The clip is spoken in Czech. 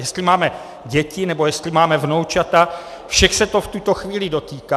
Jestli máme děti, nebo jestli máme vnoučata, všech se to v tuto chvíli dotýká.